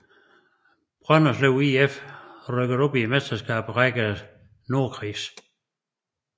Brønderslev IF rykkede op Mesterskabsrækkens nordkreds